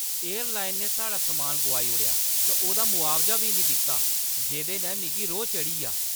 Airline ने साढ़ा सम्मान गोआई ओड़ेआ ते ओह्दा मुआवजा बी निं दित्ता जेह्दे नै मिगी रोह् चढ़ी ʼआ।